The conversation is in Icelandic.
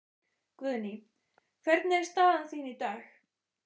Guðný: Hvernig er staðan þín í dag?